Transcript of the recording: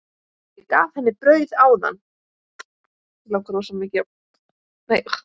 Ég gaf henni brauð áðan.